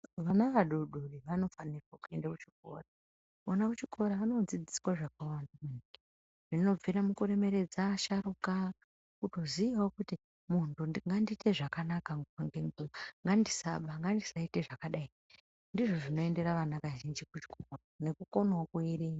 Vana vadori dori vanofanirwa kuenda kuchikora. Kona kuchikora, anoodzidziswa zvakawanda, zvinobvire mukuremeredza asharuka, kutoziyawo kuti muntu ngandiite zvakanaka nguwa ngenguwa, ngandisaba, ngandisaite zvakadai. Ndizvo zvinoendera ana kazhinji kuchikora, nekukonawo kuwerenga.